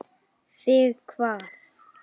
Þig hvað?